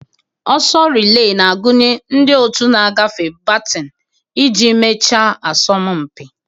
Oso relee na-agụnye ndị otu na-agafe batin iji mechaa asọmpi.